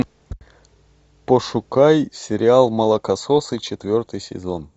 пошукай сериал молокососы четвертый сезон